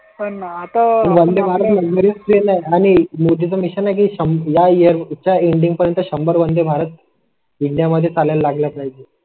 आणि आता तरी चालेल आणि मोदीं चं मिशन आहे. या इअर चा इंडियन पर्यंत शंभर वंदे भारत इंडिया मध्ये चालेल लागत नाही